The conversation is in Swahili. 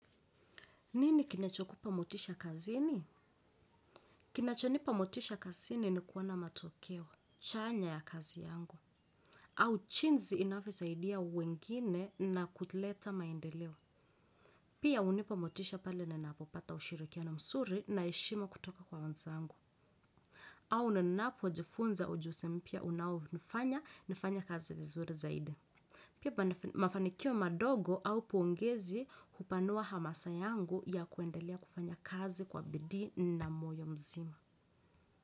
Nini kinacho kupa motisha kazini? Kinacho nipa motisha kazini ni kuona matokeo, chanya ya kazi yangu. Au jinsi inavyosaidia wengine na kuleta maendeleo. Pia hunipa motisha pale ninapopata ushirikiana mzuri na heshima kutoka kwa wenzangu. Au ninapojifunza ujuzi mpya unaonifanya, nifanye kazi vizuri zaidi. Pia mafanikio madogo au pongezi hupanua hamasa yangu ya kuendelea kufanya kazi kwa bidii na moyo mzima.